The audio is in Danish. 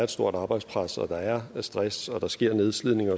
et stort arbejdspres at der er stress og at der sker nedslidning